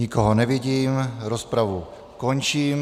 Nikoho nevidím, rozpravu končím.